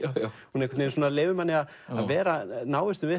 hún einhvern veginn leyfir manni að vera í návistum við